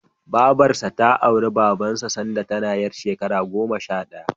Babarsa ta auri Babansa sanda tana ƴar shekara goma sha ɗaya.